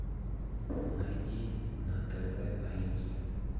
найди на тв айди